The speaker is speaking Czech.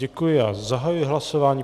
Děkuji a zahajuji hlasování.